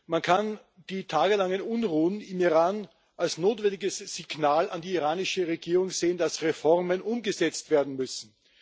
Man kann die tagelangen Unruhen im Iran als notwendiges Signal an die iranische Regierung sehen, dass Reformen umgesetzt werden müssen.